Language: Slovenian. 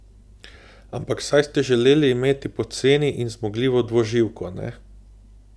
Ampak saj ste želeli imeti poceni in zmogljivo dvoživko, ne?